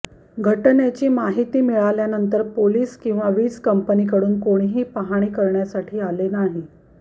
घटनेची माहिती मिळल्यानंतर पोलिस किंवा वीज कंपनीकडून कोणीही पाहणी करण्यासाठी आले नाही